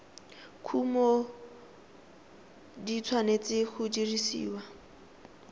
kumo di tshwanetse go dirisiwa